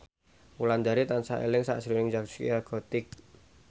Wulandari tansah eling sakjroning Zaskia Gotik